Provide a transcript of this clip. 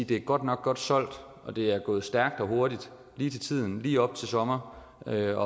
det er godt nok godt solgt og det er gået stærkt og hurtigt lige til tiden og lige op til sommer og det